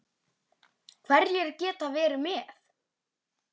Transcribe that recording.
Hverjir geta verið með?